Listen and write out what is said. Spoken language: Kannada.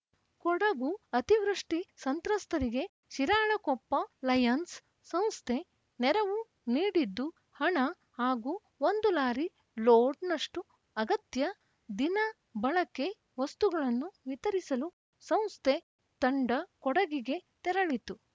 ಕೊಡಗು ಅತಿವೃಷ್ಟಿಸಂತ್ರಸ್ತರಿಗೆ ಶಿರಾಳಕೊಪ್ಪ ಲಯನ್ಸ್‌ ಸಂಸ್ಥೆ ನೆರವು ನೀಡಿದ್ದು ಹಣ ಹಾಗೂ ಒಂದು ಲಾರಿ ಲೋಡ್‌ನಷ್ಟುಅಗತ್ಯ ದಿನ ಬಳಕೆ ವಸ್ತುಗಳನ್ನು ವಿತರಿಸಲು ಸಂಸ್ಥೆ ತಂಡ ಕೊಡಗಿಗೆ ತೆರಳಿತು